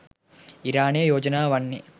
ඉරානයේ යෝජනාව වන්නේ